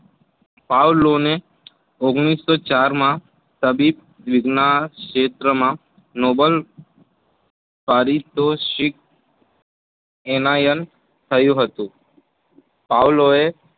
પાવલોને ઓગણીસો ચાર માં તબીબ વિજ્ઞાન ક્ષેત્રમાં નોબલ પારિતોષિક એનાયન થયું હતું. પાવલોએ